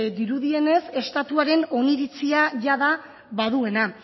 dirudienez estatuaren oniritzia jada baduena